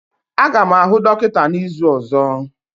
Aga m ahụ dọkịta n'izu ọzọ.